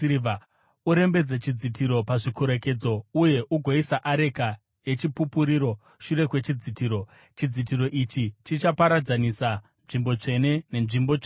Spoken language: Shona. Urembedze chidzitiro pazvikorekedzo uye ugoisa areka yeChipupuriro shure kwechidzitiro. Chidzitiro ichi chichaparadzanisa nzvimbo tsvene nevnzvimbo tsvene-tsvene .